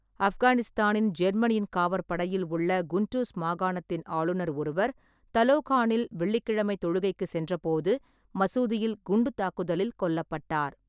ஆப்கானிஸ்தானின் ஜேர்மனியின் காவற்படையில் உள்ள குண்டூஸ் மாகாணத்தின் ஆளுநர் ஒருவர் தலோகானில் வெள்ளிக்கிழமை தொழுகைக்கு சென்றபோது மசூதியில் குண்டுத் தாக்குதலில் கொல்லப்பட்டார்.